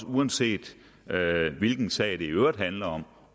uanset hvilken sag det i øvrigt handler om